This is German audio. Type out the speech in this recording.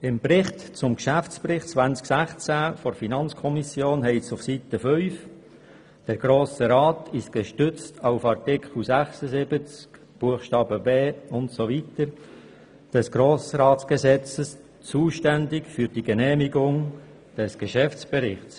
Im Bericht zum Geschäftsbericht 2016 der FiKo steht auf Seite 5, der Grosse Rat sei gestützt auf Art. 50 des Grossratsgesetzes zuständig für die Genehmigung des Geschäftsberichts.